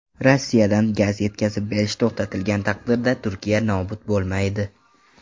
Rossiyadan gaz yetkazib berish to‘xtatilgan taqdirda Turkiya nobud bo‘lmaydi.